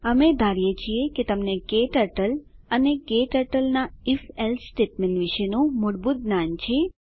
અમે ધારીએ છીએ કે તમને ક્ટર્ટલ અને કેટર્ટલનાં if એલ્સે સ્ટેટમેન્ટ વિશેનું મૂળભૂત જ્ઞાન છે